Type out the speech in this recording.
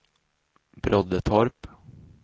Broddetorp